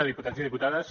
diputats i diputades